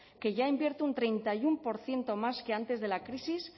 que ya invierte un treinta y uno por ciento más que antes de la crisis